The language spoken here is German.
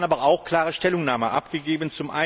Wir haben aber auch eine klare Stellungnahme abgegeben.